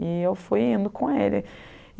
E eu fui indo com ele.